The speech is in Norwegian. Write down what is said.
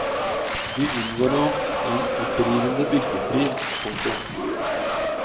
Vi unngår nok en opprivende byggestrid. punktum